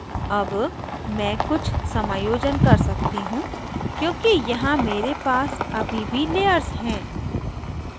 अब मैं कुछ समायोजन कर सकती हूँ क्योंकि यहाँ मेरे पर अभी भी layers हैं